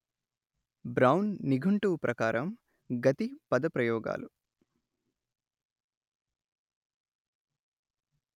brown నిఘంటువు ప్రకారం గతి పదప్రయోగాలు